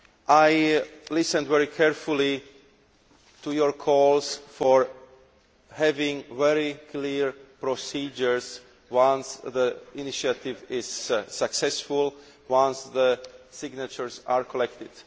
I listened very carefully to your calls for having very clear procedures once the initiative is successful and once the signatures are collected.